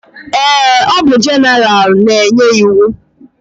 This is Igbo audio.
Eé, ọ bụ jeneralụ na-enye iwu.